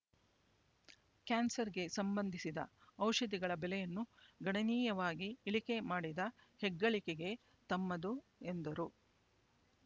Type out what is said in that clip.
ಕ್ಯಾನ್ಸರ್‌ಗೆ ಸಂಬಂಧಿಸಿದ ಔಷಧಿಗಳ ಬೆಲೆಯನ್ನು ಗಣನೀಯವಾಗಿ ಇಳಿಕೆ ಮಾಡಿದ ಹೆಗ್ಗಳಿಕೆಗೆ ತಮ್ಮದು ಎಂದರು